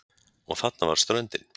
Og þarna var ströndin!